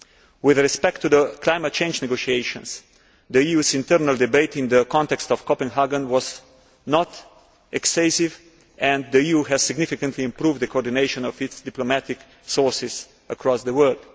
With respect to the climate change negotiations, the EU's internal debate in the context of Copenhagen was not excessive and the EU has significantly improved the coordination of its diplomatic sources across the world.